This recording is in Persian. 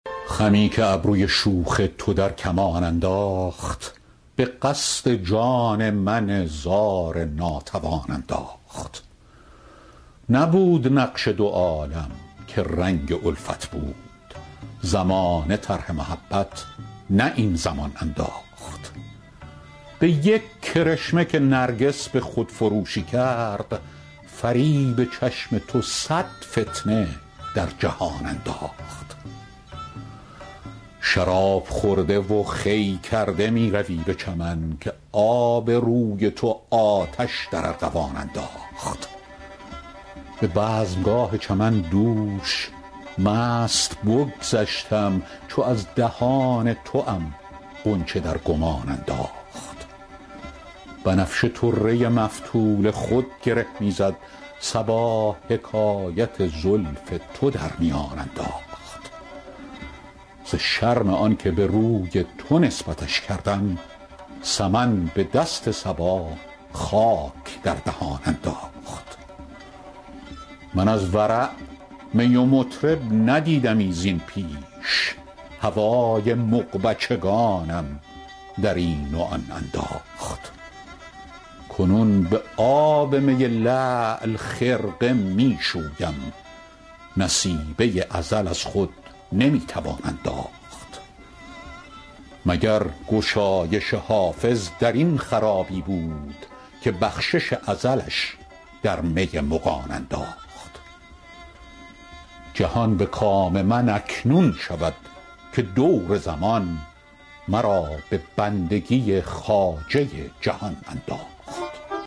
خمی که ابروی شوخ تو در کمان انداخت به قصد جان من زار ناتوان انداخت نبود نقش دو عالم که رنگ الفت بود زمانه طرح محبت نه این زمان انداخت به یک کرشمه که نرگس به خودفروشی کرد فریب چشم تو صد فتنه در جهان انداخت شراب خورده و خوی کرده می روی به چمن که آب روی تو آتش در ارغوان انداخت به بزمگاه چمن دوش مست بگذشتم چو از دهان توام غنچه در گمان انداخت بنفشه طره مفتول خود گره می زد صبا حکایت زلف تو در میان انداخت ز شرم آن که به روی تو نسبتش کردم سمن به دست صبا خاک در دهان انداخت من از ورع می و مطرب ندیدمی زین پیش هوای مغبچگانم در این و آن انداخت کنون به آب می لعل خرقه می شویم نصیبه ازل از خود نمی توان انداخت مگر گشایش حافظ در این خرابی بود که بخشش ازلش در می مغان انداخت جهان به کام من اکنون شود که دور زمان مرا به بندگی خواجه جهان انداخت